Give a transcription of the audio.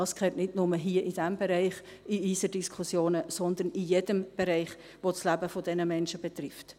Das gehört nicht nur hier in diesem Bereich in unsere Diskussionen, sondern in jedem Bereich, der das Leben dieser Menschen betrifft.